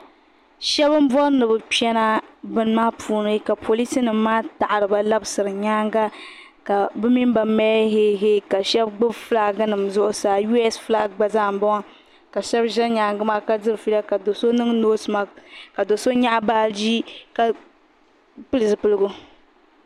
shɛba n bori ni kpena bɛ maa puuni ka polisi nim maa taɣire ba labisira nyɛŋa ka be minba mali hɛhɛi ka shɛba gba bi ƒulaginim zuɣ' saa yuhɛsɛ ƒʋlagi gba zaa n boŋɔ ka shɛba ʒɛ nyɛŋa maa kadiri ƒɛɛla ka so niŋ noosemagi ka do so nyɛgi baaji ka bɛli zupiligu